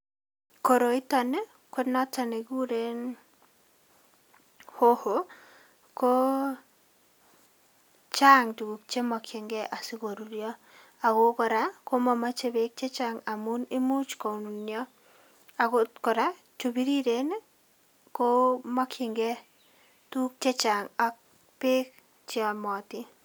Koroiton konoton nekikuren hoho ko chang tukuk chemokchingei asikoruryo akoo kora komomoche beek chechang amuun imuch konunio, akot koraa chubiriren komokying'ee tukuk chechang ak beek cheyomotin.